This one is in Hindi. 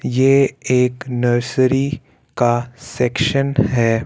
ये एक नर्सरी का सेक्शन है।